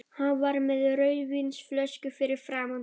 Hann var með rauðvínsflösku fyrir framan sig.